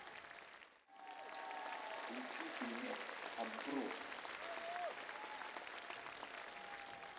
включи фильмец отбросы